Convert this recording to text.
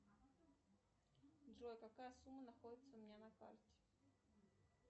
джой какая сумма находится у меня на карте